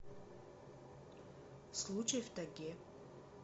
случай в тайге